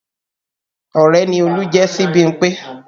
Ọrẹ ni Olú jẹ́ sí Bímpé